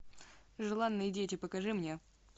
желанные дети покажи мне